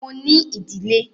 Mo ní ìdílé.